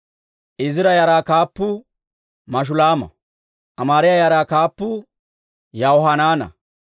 Izira yaraa kaappuu Mashulaama. Amaariyaa yaraa kaappuu Yahohanaana.